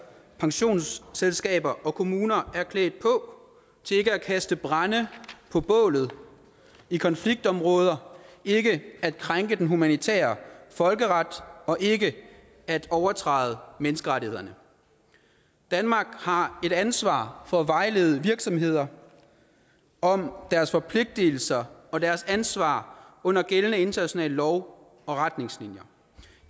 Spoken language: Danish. pensionsselskaber og kommuner er klædt på til ikke at kaste brænde på bålet og i konfliktområder ikke at krænke den humanitære folkeret og ikke at overtræde menneskerettighederne danmark har et ansvar for at vejlede virksomheder om deres forpligtelser og deres ansvar under gældende internationale love og retningslinjer